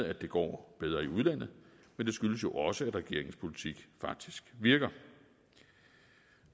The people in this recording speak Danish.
at det går bedre i udlandet men det skyldes jo også at regeringens politik faktisk virker